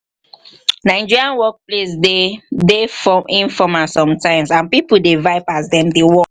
nigerian workplace de dey informal sometimes and pipo dey vibe as dem dey work